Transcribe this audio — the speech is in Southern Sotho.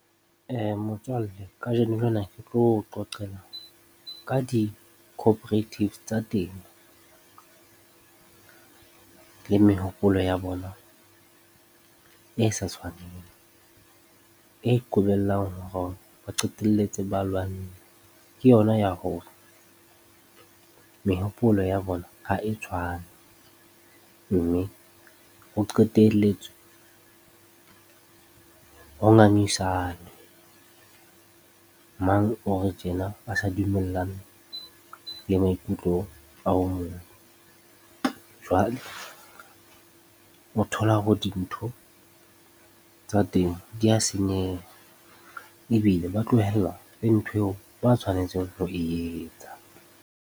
Motswalle kajeno lena ke tlo o qoqela ka di-cooperatives tsa temo le mehopolo ya bona e sa tshwaneng, e qobellang hore ba qetelletse ba lwanne ke yona ya hore mehopolo ya bona ha e tshwane mme ho qetelletse ho ngangisanwe, mang o re tjena a sa dumellane le maikutlo a o mong. Jwale, o thola hore dintho tsa temo di a senyeha ebile ba tlohella le ntho eo ba tshwanetseng ho e etsa.